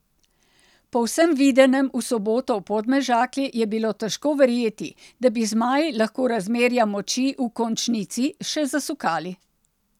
Po vsem videnem v soboto v Podmežakli je bilo težko verjeti, da bi zmaji lahko razmerja moči v končnici še zasukali.